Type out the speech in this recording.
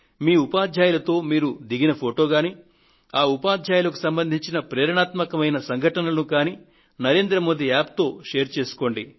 మీ ఉపాధ్యాయులతో మీరు దిగిన ఫొటో గాని ఆ ఉపాధ్యాయులకు సంబంధించిన ప్రేరణాత్మకమైన సంఘటనలను గాని నరేంద్ర మోది App తో పాలుపంచుకోండి